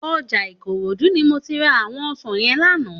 Òjá Ikorodu ni mó ti rá áwòn òsán yèn làná